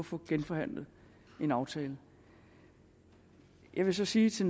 få genforhandlet en aftale jeg vil så sige til